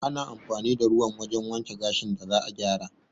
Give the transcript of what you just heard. Ana amfani da ruwan wajen wanke gashin da za'a gyara